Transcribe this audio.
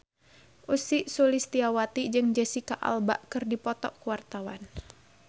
Ussy Sulistyawati jeung Jesicca Alba keur dipoto ku wartawan